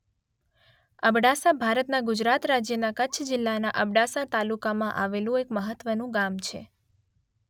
અબડાસા ભારતના ગુજરાત રાજ્યના કચ્છ જિલ્લાના અબડાસા તાલુકામાં આવેલું એક મહત્વનું ગામ છે.